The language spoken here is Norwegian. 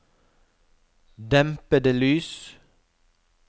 dempede lys